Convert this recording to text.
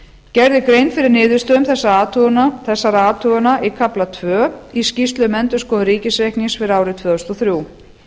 gerð er grein fyrir niðurstöðum þessara athugana í kafla tvö í skýrslu um endurskoðun ríkisreiknings fyrir árið tvö þúsund og þrjú